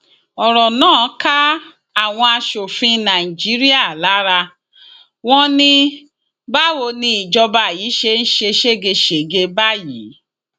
ọrọ náà ká àwọn asòfin nàìjíríà lára wọn ní báwo ni ìjọba yìí ṣe ń ṣe ségesège báyìí